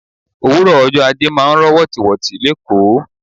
Òwúrò ọjọ́ ajé máa ń rọ wotiwoti l'ekoo.